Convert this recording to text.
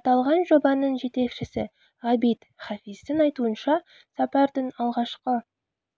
аталған жобаның жетекшісі ғабит хафиздің айтуынша сапардың алғашқы